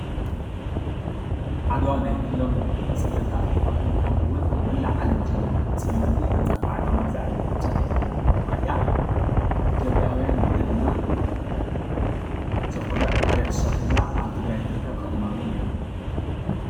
ዓድዋ ናይ ኩሎም ፀለምቲ ኣፍሪካውያን ከምኡውን ኣብ መላእ ዓለም ዘለዉ ፀለምቲ ኣንፃር ባዕዳዊ መግዛእቲ ተምሳሌት ዝኾነት ከተማ እያ፡፡ ኢትዮጵያውያን ወለድና ዘኹርዕ ታሪክ ዝሰርሑላ ኣብ ትግራይ ትርከብ ከተማ እውን እያ፡፡